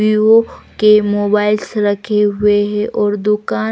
Vivo के mobiles रखें हुए है और दुकान--